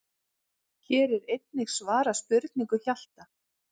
Hér er einnig svarað spurningu Hjalta: